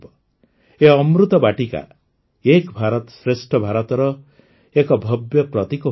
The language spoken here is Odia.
ଏହି ଅମୃତ ବାଟିକା ଏକ ଭାରତ ଶ୍ରେଷ୍ଠ ଭାରତର ଏକ ଭବ୍ୟ ପ୍ରତୀକ ହୋଇପାରିବ